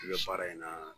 I bɛ baara in na